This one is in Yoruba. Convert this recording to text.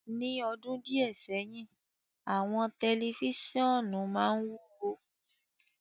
Ni ọdun diẹ sẹhin, awọn tẹlifisiọnu maa ń iwuwo